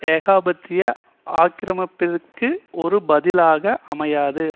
ஏகாபத்திய ஆக்கிரமிப்பிற்கு ஒரு பதிலாக அமையாது